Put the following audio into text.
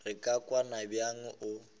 re ka kwana bjang o